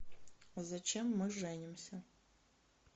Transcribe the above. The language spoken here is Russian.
зачем мы женимся